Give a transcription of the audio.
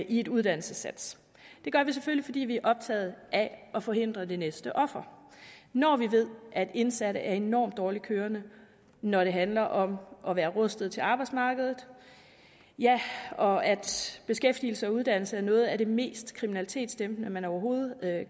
i et uddannelsessats det gør vi selvfølgelig fordi vi er optaget af at forhindre at et næste offer når vi ved at indsatte er enormt dårligt kørende når det handler om at være rustet til arbejdsmarkedet og at beskæftigelse og uddannelse er noget af det mest kriminalitetsdæmpende man overhovedet